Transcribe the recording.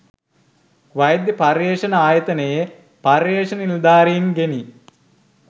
වෛද්‍ය පර්යේෂණ ආයතනයේ පර්යේෂණ නිලධාරින් ගෙනි